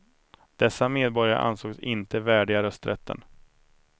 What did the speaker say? Dessa medborgare ansågs inte värdiga rösträtten.